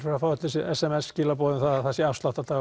eru að fá s m s skilaboð um að það sé